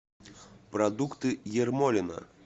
продукты ермолино